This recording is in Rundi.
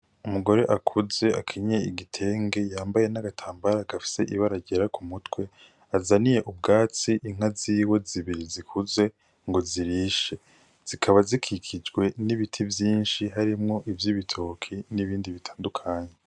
Umugore akuze akenyeye igitenge yambaye n'agatambara gafis'ibara ryera k'umutwe azaniye ubwatsi inka ziwe zibiri zikuze ngo zirishe, zikaba zikikijwe n'ibiti vyinshi harimwo ivy'ibitoki n'ibindi bitandukanye.